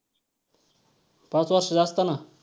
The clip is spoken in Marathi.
पाच वर्षाचे असताना.